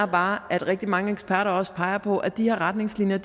bare at rigtig mange eksperter også peger på at de her retningslinjer